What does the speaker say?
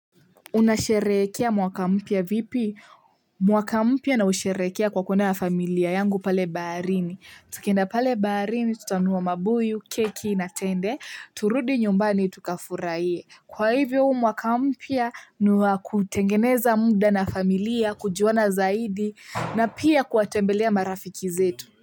Unasherehekea mwaka mpya vipi mwaka mpya nausherehekea kwa kuenda na familia yangu pale baharini. Tukienda pale baharini tutanunua mabuyu keki na tende turudi nyumbani tukafurahie. Kwa hivyo huu mwaka mpya ni wa kutengeneza muda na familia kujuana zaidi na pia kuwatembelea marafiki zetu.